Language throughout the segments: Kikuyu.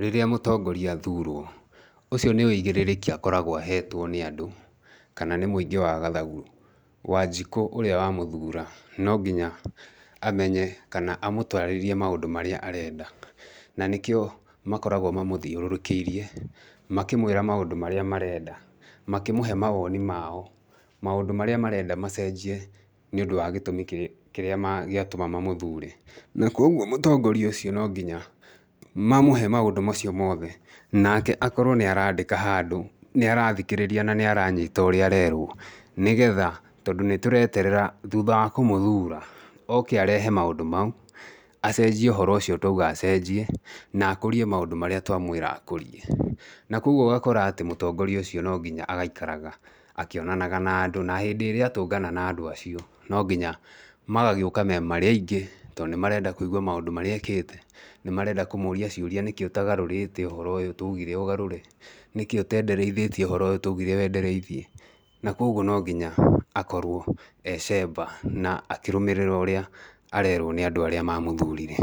Rĩrĩa mũtongoria athurwo, ũcio nĩ ũigĩrĩrĩki akoragwo ahetwo nĩ andũ kana nĩ muingĩ wa gathagu, wanjikũ ũrĩa wamũthuura no nginya amenye kana amũtarĩrie maũndũ marĩa arenda, na nĩkĩo makoragwo mamũthiũrũrũkĩirie, makĩmwĩra maũndũ marĩa marenda, makĩmũhe mawoni mao, maũndũ marĩa marenda macenjie nĩũndũ wa gĩtũmi kĩrĩa gĩatũma mamũthure, na koguo mũtongoria ũcio no nginya mamũhe maũndũ macio mothe, nake akorwo nĩ arandĩka handũ, nĩ arathikĩrĩria na nĩ aranyita ũrĩa arerwo, nĩgetha tondũ nĩ tũreterera thutha wa kũmũthuura oke arehe maũndũ mau, acenjie ũhoro ũcio twauga acenjie, na akũrie maũndũ marĩa twamwĩra akũrie, na koguo ũgakora atĩ mũtongoria ũcio no nginya agaikaraga akĩonanaga na andũ na hĩndĩ ĩrĩa atũngana na andũ acio, no nginya magagĩũka marĩ aingĩ tondũ nĩ marenda kũigwa maũndũ marĩa ekĩte, nĩ marenda kũmũria ciũria nĩkĩĩ ũtagarũrĩte ũhoro ũyũ twaugire ũgarũre, nĩkĩĩ ũtendereithĩtie ũhoro ũyũ twaugire wendereithie, na koguo no nginya akorwo e cemba na akĩrũmĩrĩra ũrĩa arerwo nĩ andũ arĩa mamũthurire.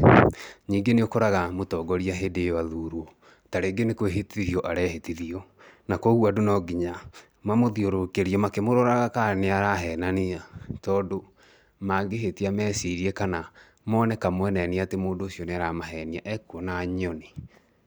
Ningĩ nĩ ũkoraga mũtongoria hĩndĩ ĩyo athurwo, ta rĩngĩ nĩ kwĩhĩtithio arehĩtithio na koguo andũ no nginya mamũthiũrũrũkĩrie makĩroraga kana nĩ arahenania tondũ mangĩhĩtia mecirie kana mone kamweneni atĩ mũndũ ũcio nĩ aramahenia ekuona nyoni.